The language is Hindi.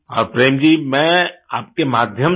और प्रेम जी मैं आपके माध्यम से